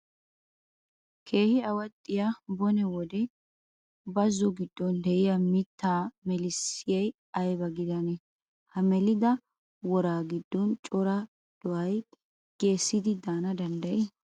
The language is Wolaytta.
Keehi awaxxiyaa bone wode bazzo giddon de"iyaa mitta melissayi ayiba gidanee? Ha melida woraa giddon cora do"ayi geesaidi daana danddayii?